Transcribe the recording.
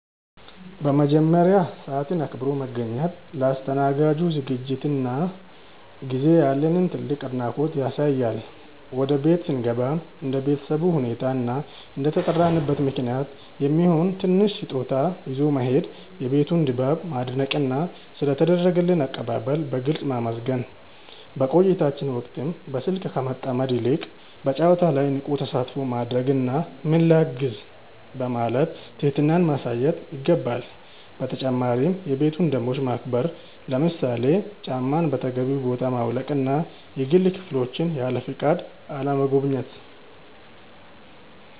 በመጀመሪያ፣ ሰዓትን አክብሮ መገኘት ለአስተናጋጁ ዝግጅትና ጊዜ ያለንን ትልቅ አድናቆት ያሳያል። ወደ ቤት ስንገባም እንደ ቤተሰቡ ሁኔታ እና እንደተጠራንበት ምክንያት የሚሆን ትንሽ ስጦታ ይዞ መሄድ፣ የቤቱን ድባብ ማድነቅና ስለ ተደረገልን አቀባበል በግልጽ ማመስገን። በቆይታችን ወቅትም በስልክ ከመጠመድ ይልቅ በጨዋታው ላይ ንቁ ተሳትፎ ማድረግና "ምን ላግዝ?" በማለት ትህትናን ማሳየት ይገባል። በተጨማሪም የቤቱን ደንቦች ማክበር፣ ለምሳሌ ጫማን በተገቢው ቦታ ማውለቅና የግል ክፍሎችን ያለፈቃድ አለመጎብኘት።